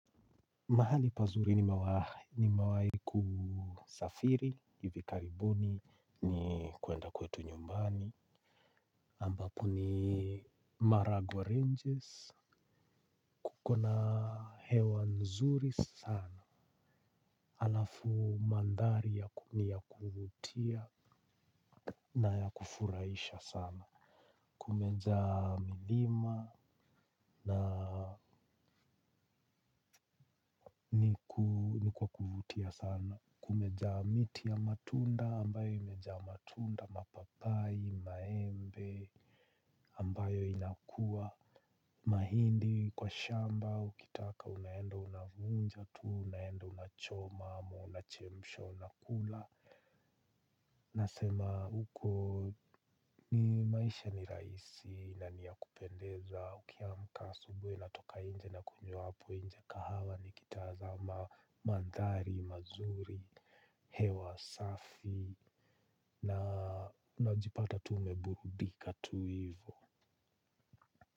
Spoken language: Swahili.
Mahali pazuri nimewahi kusafiri hivi karibuni kwenda kwetu nyumbani ambapo ni Maragwa Ranges. Kuko na hewa nzuri sana. Alafu mandhari ya kutumia kuvutia na ya kufuraisha sana. Kumejaa milima na ni kwa kuvutia sana kumejaa miti ya matunda ambapo imejaa matunda mapapai, maembe ambayo inakuwa mahindi kwa shamba ukitaka unaenda unavunja tuu, unaenda unachoma, unachemsha, unakula. Nasema huko ni maisha ni rahisi na ni ya kupendeza ukiamka asubuhi na toka inje na kunywa hapo nje kahawa ni kitazama mandhari mazuri. Hewa safi na najipata tu nimeburudika tu hivyo.